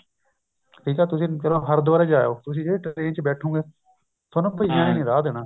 ਠੀਕ ਆ ਤੁਸੀਂ ਚਲੋ ਤੁਸੀਂ ਹਰਿਦਵਾਰ ਹੀ ਜਾ ਆਇਓ ਤੁਸੀਂ ਜਦੋਂ train ਚ ਬੈਠੋਗੇ ਬਈਆਂ ਨੇ ਨੀ ਰਾਹ ਦੇਣਾ